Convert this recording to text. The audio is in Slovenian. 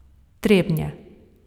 Trebnje.